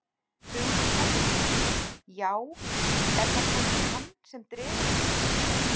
Hugrún Halldórsdóttir: Já er það kannski hann sem dregur ykkur hingað?